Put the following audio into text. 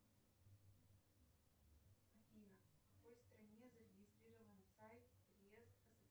афина в какой стране зарегистрирован сайт риест